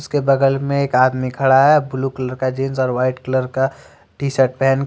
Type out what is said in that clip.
उसके बगल में एक आदमी खड़ा है ब्लू कलर का जींस और वाइट कलर का टी शर्ट पहन--